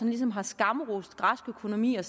ligesom har skamrost græsk økonomi og